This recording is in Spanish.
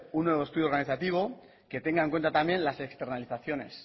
un nuevo estudio organizativo que tenga en cuenta también las externalizaciones